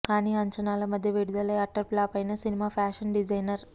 కానీ అంచనాల మధ్య విడుదలై అట్టర్ ఫ్లాప్ అయిన సినిమా ఫ్యాషన్ డిజైనర్